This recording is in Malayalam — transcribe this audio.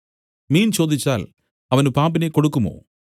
മീൻ ചോദിച്ചാൽ അവന് പാമ്പിനെ കൊടുക്കുമോ